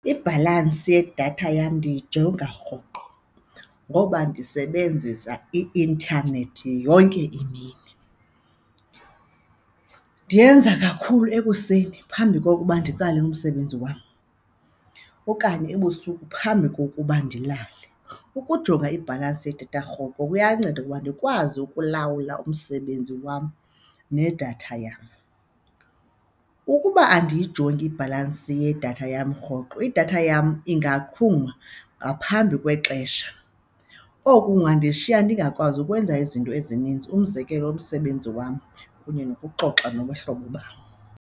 Ibhalansi yedatha yam ndiyijonga rhoqo ngoba ndisebenzisa i-intanethi yonke imini. Ndiyenza kakhulu ekuseni phambi kokuba ndiqale umsebenzi wam okanye ebusuku phambi kokuba ndilale. Ukujonga ibhalansi yedatha rhoqo kuyanceda ukuba ndikwazi ukulawula umsebenzi wam nedatha yam. Ukuba andiyijongi ibhalansi yedatha yam rhoqo idatha yam ingaqhuma ngaphambi kwexesha, oku kungandishiya ndingakwazi ukwenza izinto ezininzi. Umzekelo, umsebenzi wam kunye nokuxoxa nabahlobo bam.